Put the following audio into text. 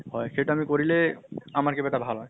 হয় । সেইটো আমি কৰিলে আমাৰ কিবা এটা ভাল হয়।